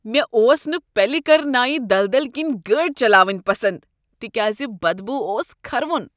مےٚ اوس نہٕ پلیکرنائی دلدل کِنۍ گٲڑۍ چلإونۍ پسند تکیازِ بد بو اوس کھرٕوُن۔